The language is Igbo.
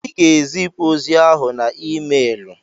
Ị ga-ezipụ ozi ahụ na emeelụ!